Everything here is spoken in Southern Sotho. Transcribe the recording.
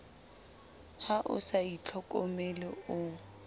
ha o sa itlhokomele o